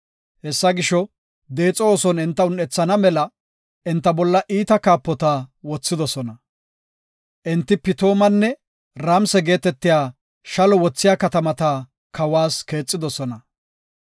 Hessa gisho, deexo ooson enta un7ethana mela enta bolla iita kaapota wothidosona. Enti Pitoomanne Ramse geetetiya shallo wothiya katamata kawas keexidosona.